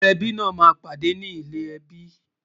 gbógbó ẹbí nà má ń pàdé ní ilè ẹbí